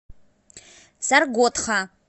саргодха